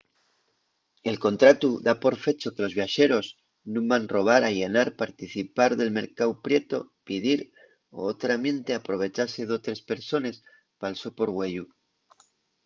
el contratu da por fecho que los viaxeros nun van robar allanar participar del mercáu prietu pidir o otramiente aprovechase d'otres persones pal so porgüeyu